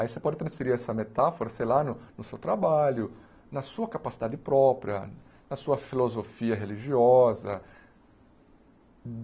Aí você pode transferir essa metáfora, sei lá, no no seu trabalho, na sua capacidade própria, na sua filosofia religiosa.